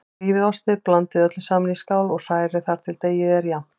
Rífið ostinn, blandið öllu saman í skál og hrærið þar til deigið er jafnt.